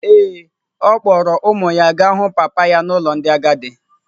Ee, ọ kpọọrọ ụmụ ya gaa hụ papa ya n’ụlọ ndị agadi.